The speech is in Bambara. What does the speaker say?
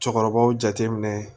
Cɛkɔrɔbaw jateminɛ